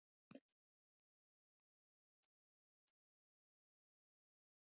Synja skal um skráningu ef heimili er ákveðið á öðrum stað en nú var nefndur.